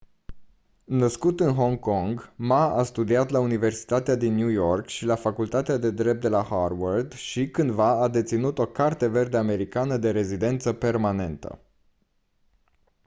născut în hong kong ma a studiat la universitatea din new york și la facultatea de drept de la harvard și cândva a deținut o carte verde americană de rezidență permanentă